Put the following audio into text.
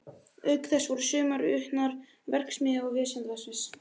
Auk þess voru sumar utan við verksvið Vísindavefsins.